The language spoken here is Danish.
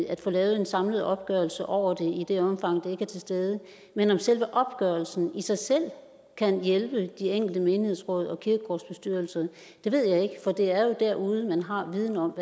at få lavet en samlet opgørelse over det i det omfang det ikke er til stede men om selve opgørelsen i sig selv kan hjælpe de enkelte menighedsråd og kirkegårdsbestyrelser ved jeg ikke for det er jo derude man har viden om